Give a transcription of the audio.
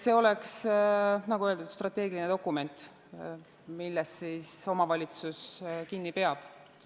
See oleks, nagu öeldud, strateegiline dokument, millest omavalitsus kinni peab.